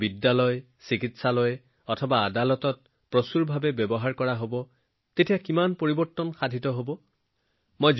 আমাৰ বিদ্যালয় আমাৰ চিকিৎসালয় আমাৰ আদালতত এই প্ৰযুক্তিৰ ব্যাপক ব্যৱহাৰ হলে কিমান বৃহৎ পৰিৱৰ্তন আহিব সেয়া আপুনি কল্পনা কৰকচোন